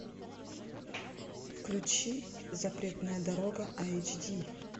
включи запретная дорога эйч ди